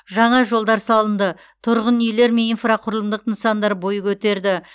жаңа жолдар салынды тұрғын үйлер мен инфрақұрылымдық нысандар бой көтерді